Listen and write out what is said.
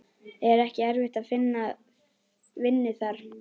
Er ekki erfitt að finna vinnu þar?